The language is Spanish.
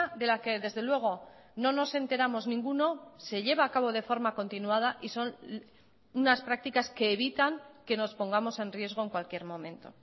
de la que desde luego no nos enteramos ninguno se lleva a cabo de forma continuada y son unas prácticas que evitan que nos pongamos en riesgo en cualquier momento